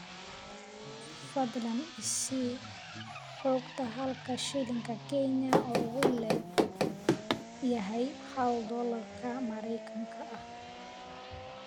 fadlan i sii xogta halka shilinka kenya uu le'eg yahay hal doolarka maraykanka ah